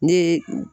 Ne ye